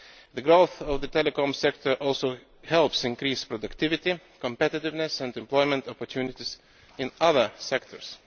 The growth of the telecoms sector also helps increase productivity, competitiveness and employment opportunities in other sectors.